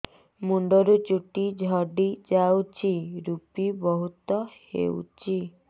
ମୁଣ୍ଡରୁ ଚୁଟି ଝଡି ଯାଉଛି ଋପି ବହୁତ ହେଉଛି